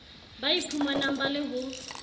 ba iphumanang ba le ho